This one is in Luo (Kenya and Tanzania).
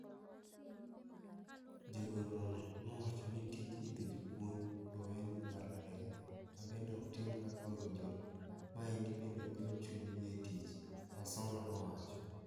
Jagoro no nowacho ni tij idho jopuonj oweni mbalariany, mabende oktime kaka owinjore. Maendi bende golo chuny gi e tich." Wasonga nowacho.